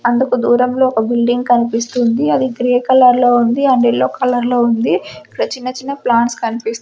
అందుకు దూరంలో ఒక బిల్డింగ్ కనిపిస్తుంది అది గ్రే కలర్లో ఉంది అండ్ ఎల్లో కలర్లో ఉంది ఇక్కడ చిన్న చిన్న ప్లాంట్స్ కనిపిస్త్--